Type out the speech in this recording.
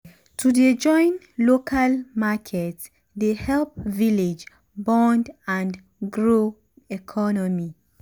to dey join local market dey help village bond and grow economy.